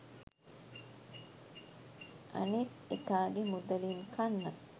අනිත් එකාගෙ මුදලින් කන්න